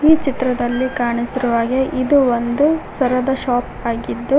ಈ ಚಿತ್ರದಲ್ಲಿ ಕಾಣಿಸಿರುವ ಹಾಗೆ ಇದು ಒಂದು ಸರದ ಶಾಪ್ ಆಗಿದ್ದು--